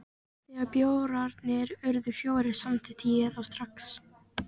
Þegar bjórarnir urðu fjórir, samþykkti ég það strax.